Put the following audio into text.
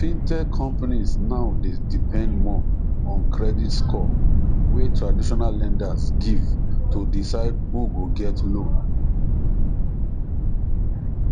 fintech companies now dey depend more on credit score wey traditional lenders give to decide who go get loan